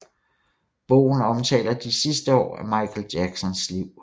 Bogen omtaler de sidste år af Michael Jacksons liv